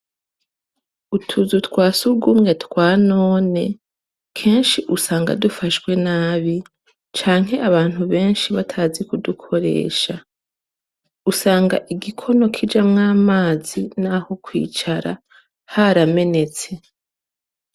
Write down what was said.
Utuzu twa surwumwe twa none, kenshi usanga dufashwe nabi, canke abantu benshi batazi kudukoresha. Usanga igikono kijamwo amazi n'aho kwicara haramenetse.